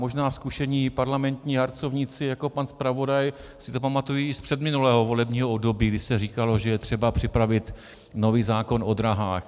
Možná zkušení parlamentní harcovníci jako pan zpravodaj si to pamatují i z předminulého volebního období, kdy se říkalo, že je třeba připravit nový zákon o dráhách.